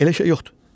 Elə şey yoxdur.